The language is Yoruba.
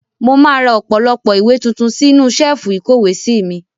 Mo máa ra ọ̀pọ̀lọpọ̀ ìwé tuntun sí inú ṣẹ́ẹ́fù ìkówèé sí mi.